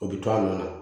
O bi to a nana